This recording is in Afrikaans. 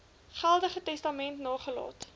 geldige testament nagelaat